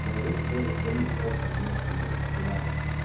даже своего совместимость сюда